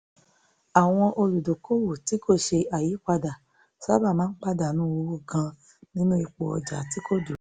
àwọn olùdókòwò tí kò ṣe àyípadà sábà máa ń pàdánù owó gan-an nínú ipò ọjà tí kò dúró